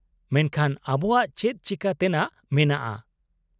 -ᱢᱮᱱᱠᱷᱟᱱ, ᱟᱵᱚᱣᱟᱜ ᱪᱮᱫ ᱪᱤᱠᱟᱹᱛᱮᱱᱟᱜ ᱢᱮᱱᱟᱜᱼᱟ ?